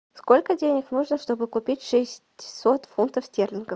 сколько денег нужно чтобы купить шестьсот фунтов стерлингов